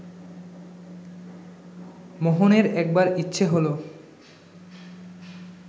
মোহনের একবার ইচ্ছে হলো